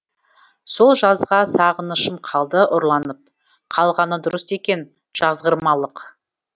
сол жазға сағынышым қалды ұрланып қалғаны дұрыс екен жазғырмалық